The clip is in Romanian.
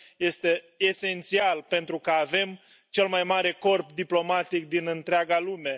Este esențial, pentru că avem cel mai mare corp diplomatic din întreaga lume.